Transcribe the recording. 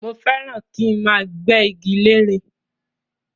Mo fẹ́ràn ràn kí máa gbé igi lére